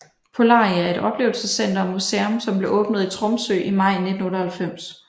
Polaria er et oplevelsescenter og museum som blev åbnet i Tromsø i maj 1998